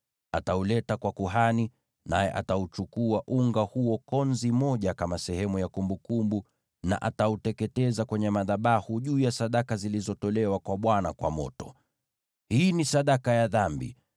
Atauleta unga kwa kuhani, ambaye atachukua konzi moja kama sehemu ya kumbukumbu na atauteketeza kwenye madhabahu juu ya sadaka zilizotolewa kwa Bwana kwa moto. Hii ni sadaka ya dhambi.